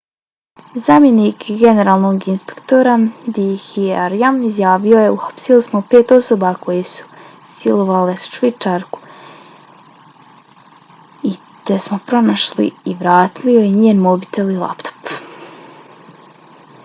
zamjenik generalnog inspektora d k arya izjavio je: uhapsili smo pet osoba koje su silovale švicarku i te smo pronašli i vratili joj njen mobitel i laptop